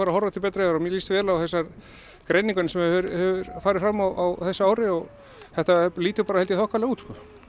að horfa til betri vegar og mér líst vel á þessa greiningarvinnu sem hefur farið fram á þessu ári og þetta lítur bara held ég þokkalega út